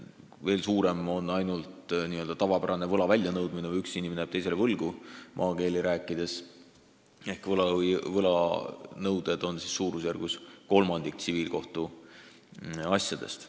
Veel suurema osakaaluga on ainult tavapärane võla väljanõudmine: kui maakeeli öeldes üks inimene jääb teisele võlgu, siis need võlanõuded moodustavad kolmandiku tsiviilkohtuasjadest.